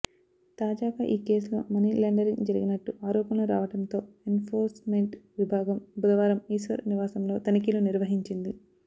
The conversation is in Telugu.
తాజాగా ఈ కేసులో మనీ లాండరింగ్ జరిగినట్టు ఆరోపణలు రావడంతో ఎన్ఫోర్స్మెంట్ విభాగం బుధవారం ఈశ్వర్ నివాసంలో తనిఖీలు నిర్వహిచింది